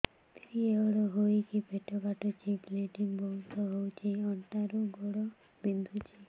period ହୋଇକି ପେଟ କାଟୁଛି ବ୍ଲିଡ଼ିଙ୍ଗ ବହୁତ ହଉଚି ଅଣ୍ଟା ରୁ ଗୋଡ ବିନ୍ଧୁଛି